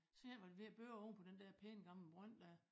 Sådan én var de ved at bygge oven på en dér pæne gamle brønd dér